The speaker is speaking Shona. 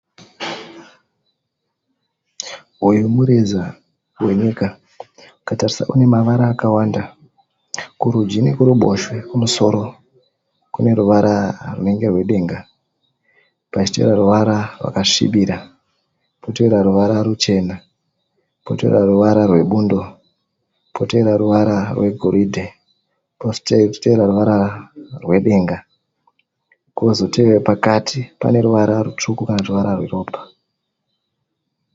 Uyu mureza wenyika. Ukatarisa unemavara akawanda. Kurudyi nekuruboshwe kumusoro kune ruvara runenge rwedenge, pachiita ruvara rwakasvibira potevera ruvara ruchena, potevera ruvara rwebundo, potevera ruvara rwegoridhe, kuchitevera ruvara rwedenga. Pakati paneruvara rutsvuku kanakuti rweropa.